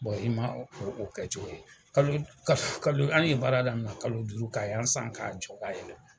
i ma o kɛ cogo ye, kalo an ye baara daminɛ kalo duuru ka yan san ka jɔ ka yɛlɛma.